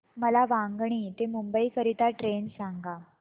मला वांगणी ते मुंबई करीता ट्रेन सांगा